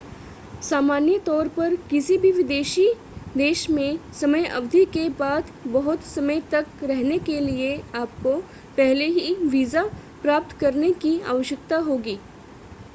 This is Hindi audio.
सामान्य तौर पर किसी भी विदेशी देश में समय अवधि के बाद बहुत समय तक रहने के लिए आपको पहले ही वीज़ा प्राप्त करने की आवश्यकता होगी